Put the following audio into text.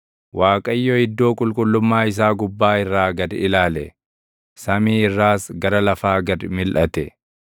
“ Waaqayyo iddoo qulqullummaa isaa gubbaa irraa gad ilaale; samii irraas gara lafaa gad milʼate;